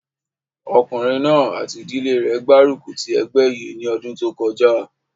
Ọkùnrin náà àti ìdílé rẹ̀ gbárùkù ti ẹgbẹ́ yìí ní ọdún kọjá